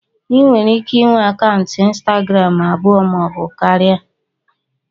Ị nwere ike inwe akaụntụ ịnstagram abụọ maọbụ karịa